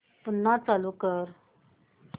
पुन्हा चालू कर